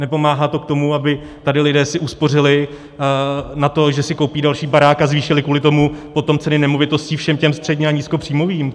Nepomáhá to k tomu, aby tady si lidé uspořili na to, že si koupí další barák a zvýšili kvůli tomu potom ceny nemovitostí všem těm středně- a nízkopříjmovým.